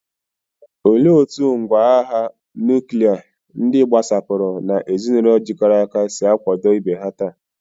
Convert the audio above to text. Olee otú ngwá agha nuklia, ndị gbasapụrụ, na ezinụlọ jikọrọ aka si akwado ibe ha taa?